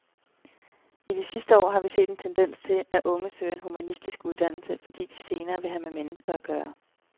I de sidste år har vi set en tendens til, at unge søger en humanistisk uddannelse, fordi de senere vil have med mennesker at gøre.